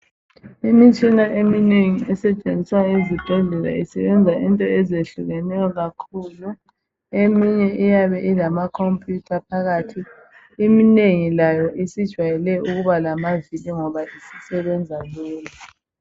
Imitshina eminengi esetshenziswa esibhedlela isebenza izinto ezinengi kakhulu. Eminye iyabe ilamacomputer phakathi. Inengi layo, isijayele ukuba lamavili ngoba isisebenza lula.